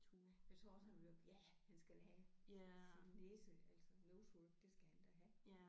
Jeg tror også han ville ja han skal da have sin sin næse altså nose work det skal han da have